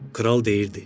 Kral deyirdi.